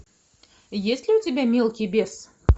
есть ли у тебя мелкий бес